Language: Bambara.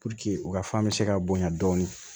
u ka fan bɛ se ka bonya dɔɔni